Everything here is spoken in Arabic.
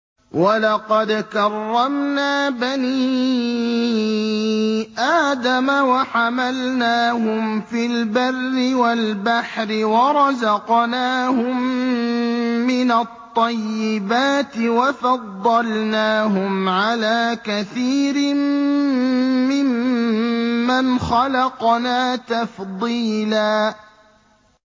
۞ وَلَقَدْ كَرَّمْنَا بَنِي آدَمَ وَحَمَلْنَاهُمْ فِي الْبَرِّ وَالْبَحْرِ وَرَزَقْنَاهُم مِّنَ الطَّيِّبَاتِ وَفَضَّلْنَاهُمْ عَلَىٰ كَثِيرٍ مِّمَّنْ خَلَقْنَا تَفْضِيلًا